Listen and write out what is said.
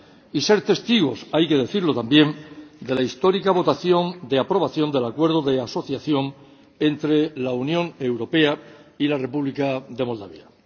y ser testigos ―hay que decirlo también― de la histórica votación de aprobación del Acuerdo de Asociación entre la Unión Europea y la República de Moldavia.